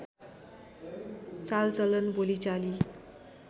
चालचलन बोलीचाली